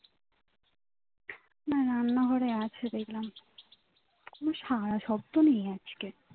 মা রান্না ঘরে আছে দেখলাম কোন সারা শব্ধ নেই আজকে